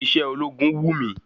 Iṣé ológun wù mí.